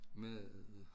Med